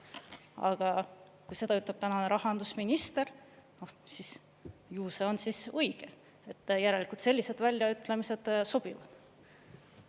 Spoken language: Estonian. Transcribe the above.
Aga kui seda ütleb tänane rahandusminister, siis ju see on õige, järelikult sellised väljaütlemised sobivad.